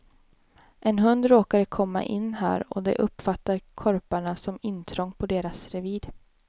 En hund råkade komma in här och det uppfattar korparna som intrång på deras revir.